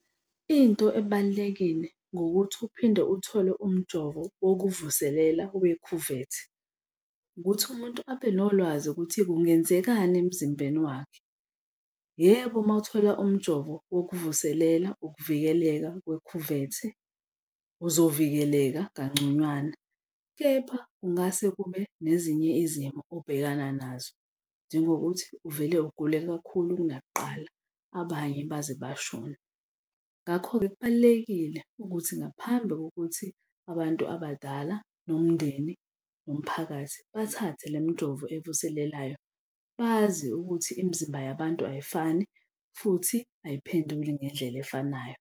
Into ebalulekile ngokuthi uphinde uthole umjovo wokuvuselela wekhuvethe ukuthi umuntu abe nolwazi ukuthi kungenzekani emzimbeni wakhe. Yebo, uma uthola umjovo wokuvuselela ukuvikeleka kwekhuvethe uzovikeleka kangconywana, kepha kungase kube nezinye izimo obhekana nazo, njengokuthi uvele ugule kakhulu kunakuqala, abanye baze bashone. Ngakho-ke kubalulekile ukuthi ngaphambi kokuthi abantu abadala nomndeni nomphakathi bathathe lemijovo evuselelayo bazi ukuthi imizimba yabantu ayifani futhi ayiphenduli ngendlela efanayo.